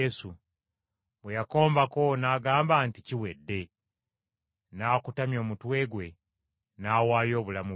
Bwe yakombako n’agamba nti, “Kiwedde.” N’akutamya omutwe gwe n’awaayo obulamu bwe.